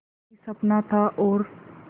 एक ही सपना था और